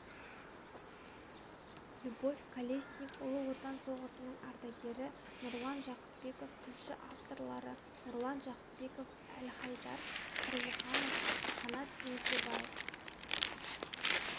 любовь колесник ұлы отан соғысының ардагері нұрлан жақыпбеков тілші авторлары нұрлан жақыпбеков әлхайдар тұрлыханов қанат еңсебаев